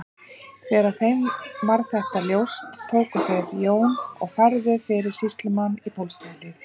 Þegar þeim varð þetta ljóst tóku þeir Jón og færðu fyrir sýslumann í Bólstaðarhlíð.